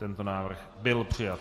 Tento návrh byl přijat.